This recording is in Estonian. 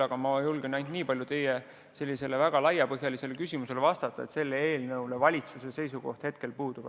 Aga ma julgen nii palju teie väga laiapõhjalisele küsimusele vastata, et valitsuse seisukoht selle eelnõu kohta hetkel puudub.